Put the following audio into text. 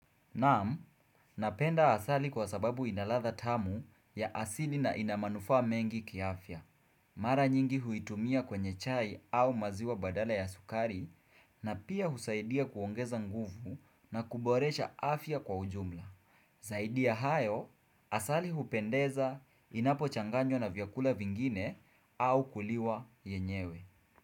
Naam, napenda asali kwa sababu inaladha tamu ya asili na ina manufaa mengi kiafya. Mara nyingi huitumia kwenye chai au maziwa badala ya sukari na pia husaidia kuongeza nguvu na kuboresha afya kwa ujumla. Zaidi ya hayo, asali hupendeza inapo changanywa na vyakula vingine au kuliwa yenyewe.